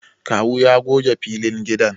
Kawu ya goge filin gidan